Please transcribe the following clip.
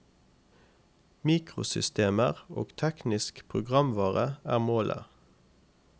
Mikrosystemer og teknisk programvare er målet.